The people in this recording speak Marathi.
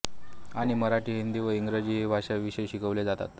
आणि मराठी हिंदी व इंग्रजी हे भाषा विषय शिकवले जातात